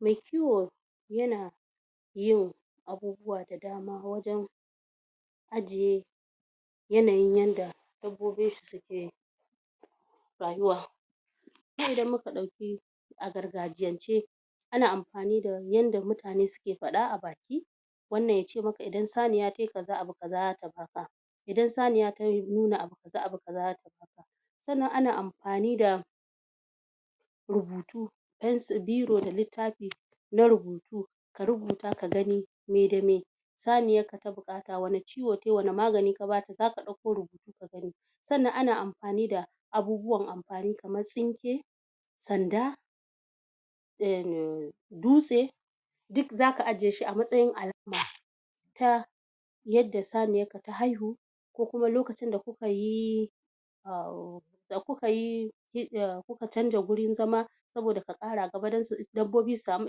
Mai kiwo yana yin abubuwa da dama wajan ajiye yanayin yanda dabbobinshi suke rayuwa. Kuma idan muka ɗauki a gargajiyance ana ampani da yanda mutane suke paɗa a baki wannan yace make idan saniya tayi kaza abu kaza idan saniya ta nuna abu kaza abu kaza zata, sannan ana ampani da rubutu pencir, biro da littafi na rubutu ka rubuta ka gani me da me saniyar ka ta buƙata wani ciwo tayi, wani magani ta buƙata saniyar ka ta buƙata wani ciwo tayi, wani magani ka bata zaka ɗauko rubutu ka gani sannan ana ampani da abubuwan ampani kaman tsinke, sanda, em dutse duk zaka ajiyeshi a matsayin alama ta yadda saniyarka ta haihu ko kuma lokacin da kukayi em da kukayi em kuka chanza gurin zama saboda ka kara gaba dan dabbobi su samu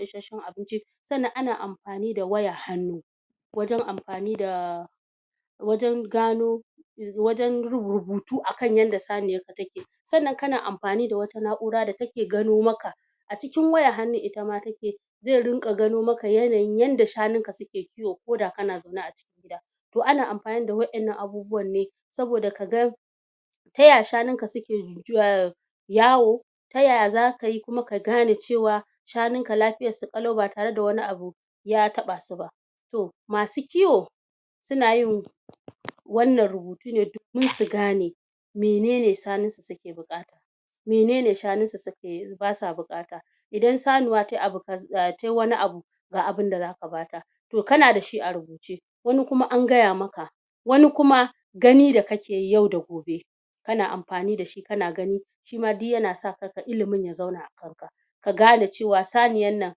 isacchen abinci, sannan ana ampani da wayar hannu wajan ampani da wajan gano wajan rubutu akan yanda saniyarka ta ke, sannan kana ampani da wata na'ura da ta ke gano maka a cikin wayan hannun itama ta ke ze rinƙa gano maka yanayin yanda shanunka suke kiwo koda kana zaune a cikin gida. Toh ana ampani da wa'innan abubuwan ne saboda kaga taya shanunka suke yawo, ta yaya zakayi kuma ka gane cewa shanunka lapiyar su ƙalau ba tarada wani abu ya taɓasu ba. Toh masu kiwo sunayin wannan rubutu ne domin su gane menene shanunsu suke buƙT menene shanunsu suke basa buƙata idan sanuwa tayi abu kaz em tayi wani abu ga binda zaka bata, toh kana da shi a rubuce wani kuma an gaya maka wani kuma, gani da kakeyi yau da gobe kana ampani dashi kana gani shima duk yana sa ilimin ya zauna ka gane cewa saniyannan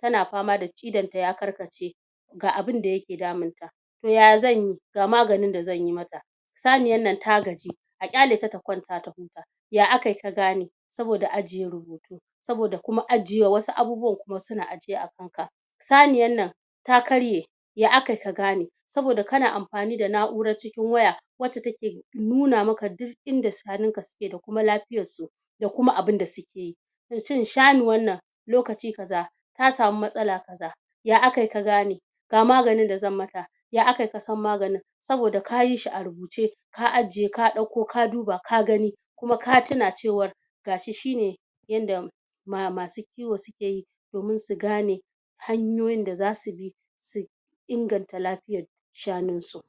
tana pama da idanta ya karkace ga abinda yake daminta toh yaya zanyi ga maganin da zanyi mata, saniyannan ta gaji, a ƙyaleta ta kwanta ta huta, ya akayi ka gane? saboda ajiye rubutu. Saboda kuma ajiyewa wasu abubuwan kuma suna ajiye a kanka, saniyannan ta karye, ya akai ka gane? saboda kana ampani da na'urar cikin waya wacce take nuna maka duk inda shanun ka suke da kuma lafiyar su da kuma abinda suke. Shin shanuwannan lokaci kaza ta samu matsala kaza ya akai ka gane? Ga maganin da zan mata ya akayi kasan maganin? Saboda kayi shi a rubuce, ka ajiye ka ɗauko ka duba ka gani kuma ka tuna cewar gashi shine yanda ma masu kiwo sukeyi domin su gane hanyoyin da zasu bi su inganta lapiyar shanunsu.